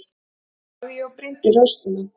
sagði ég og brýndi raustina.